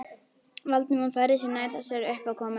Valdimar færði sig nær þessari uppákomu.